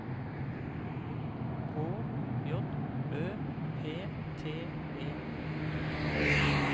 K J Ø P T E